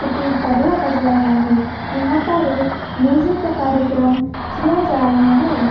तो कोई तबला बजा रहा है यहाँ पर एक म्यूजिक का कार्यक्रम किया जा रहा है।